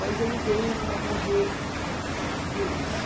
Mas ele veio a morrer de velhice.